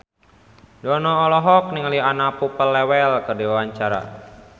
Dono olohok ningali Anna Popplewell keur diwawancara